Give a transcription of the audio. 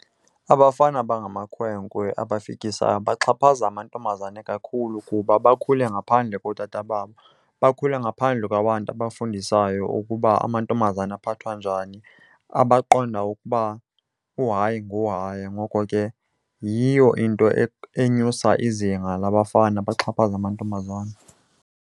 Abafana abangamakhwenkwe abafikisayo baxhaphaza amantombazane kakhulu kuba bakhule ngaphandle kootata babo. Bakhule ngaphandle kwabantu abafundisayo ukuba amantombazana aphathwa njani, abaqonda ukuba uhayi nguhayi. Ngoko ke yiyo into enyusa izinga labafana baxhaphaze amantombazana.